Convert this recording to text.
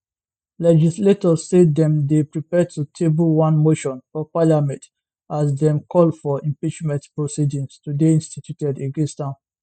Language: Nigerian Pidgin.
legislators say dem dey prepare to table one motion for parliament as dem call for impeachment proceedings to dey instituted against am